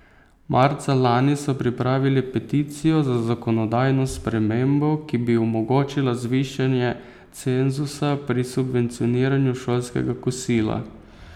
Marca lani so pripravili peticijo za zakonodajno spremembo, ki bi omogočila zvišanje cenzusa pri subvencioniranju šolskega kosila.